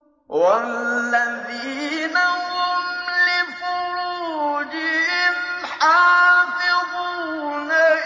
وَالَّذِينَ هُمْ لِفُرُوجِهِمْ حَافِظُونَ